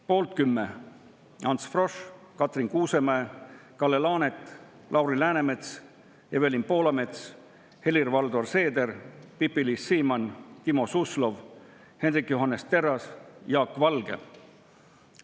Poolt 10: Ants Frosch, Katrin Kuusemäe, Kalle Laanet, Lauri Läänemets, Evelin Poolamets, Helir-Valdor Seeder, Pipi-Liis Siemann, Timo Suslov, Hendrik Johannes Terras, Jaak Valge.